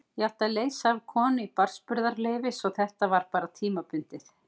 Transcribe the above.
Ég átti að leysa af konu í barnsburðarleyfi svo þetta var bara tímabundið.